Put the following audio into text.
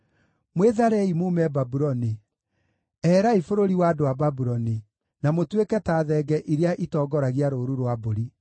“Mwĩtharei muume Babuloni; eherai bũrũri wa andũ a Babuloni, na mũtuĩke ta thenge iria itongoragia rũũru rwa mbũri.